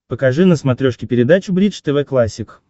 покажи на смотрешке передачу бридж тв классик